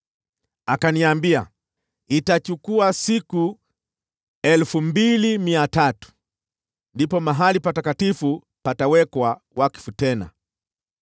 Akaniambia, “Itachukua siku 2,300. Ndipo mahali patakatifu patawekwa wakfu tena.”